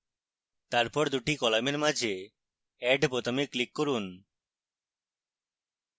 তারপর 2 the কলামের মাঝে add বোতামে click করুন